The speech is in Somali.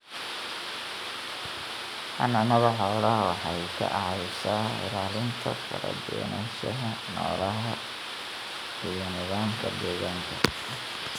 Xanaanada xoolaha waxay ka caawisaa ilaalinta kala duwanaanshaha noolaha iyo nidaamka deegaanka.